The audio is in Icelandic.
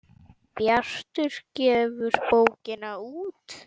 Bjartur gefur bókina út.